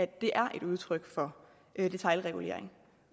det er et udtryk for detailregulering